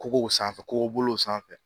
Kogow sanfɛ kogo bolo sanfɛ